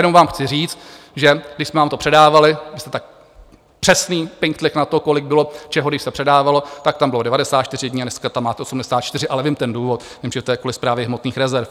Jenom vám chci říct, že když jsme vám to předávali, vy jste tak přesný, pinktlich na to, kolik bylo čeho, když se předávalo, tak tam bylo 94 dní a dneska tam máte 84, ale vím ten důvod, vím, že to je kvůli Správě hmotných rezerv.